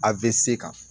A bɛ se kan